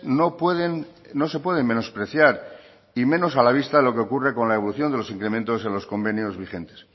no pueden no se pueden menospreciar y menos a la vista de lo que ocurre con la evolución de los incrementos en los convenios vigentes